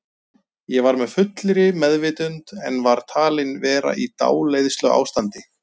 Ég var með fullri meðvitund en var talin vera í dáleiðsluástandi.